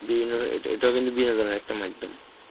বিভিন্ন এ~ এটা কিন্তু বিনোদনের একটা মাইধ্যম.